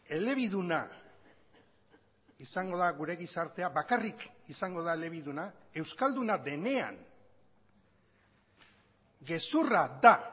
elebiduna izango da gure gizartea bakarrik izango da elebiduna euskalduna denean gezurra da